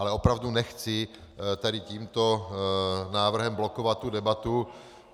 Ale opravdu nechci tady tímto návrhem blokovat tu debatu.